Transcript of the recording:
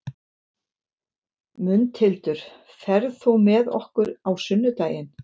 Mundhildur, ferð þú með okkur á sunnudaginn?